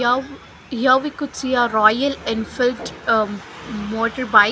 here we could see a Royal Enfield uh motor bike.